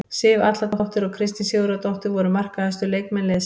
Sif Atladóttir og Kristín Sigurðardóttir voru markahæstu leikmenn liðsins.